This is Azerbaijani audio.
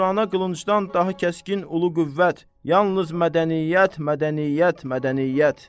Turana qılıncdan daha kəskin ulu qüvvət yalnız mədəniyyət, mədəniyyət, mədəniyyət.